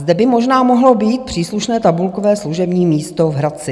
Zde by možná mohlo být příslušné tabulkové služební místo v Hradci.